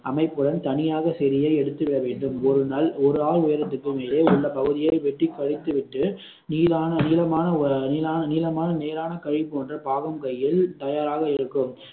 அமைப்புடன் தனியாக செடியை எடுத்து விட வேண்டும் ஒரு நல் ஒரு ஆள் உயரத்திற்கும் மேலே உள்ள பகுதியை வெட்டி பறித்து விட்டு நீளான நீளமான ஒரு நீளான நீளமான நீளான கயிறு போன்ற பாகம் கையில் தயாராக இருக்கும்